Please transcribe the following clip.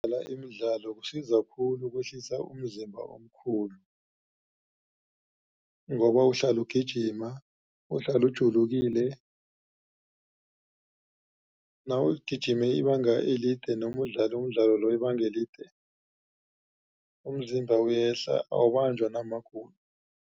Ukudlala imidlalo kusiza khulu kwehlisa umzimba omkhulu. Ngoba uhlale ugijima uhlale ujulukile nawugijime ibanga elide noma udlale umdlalo loyo ibanga elide umzimba uyehla awubanjwa namagulo.